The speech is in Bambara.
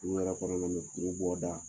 U yɛrɛ fana bɛ ni